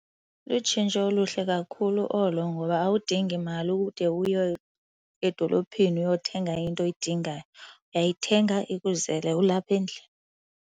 Lutshintsho oluhle kakhulu olo ngoba awudingi mali ude uye edolophini uyothenga into oyidingayo. Uyayithenga ikuzele ulapha endlini.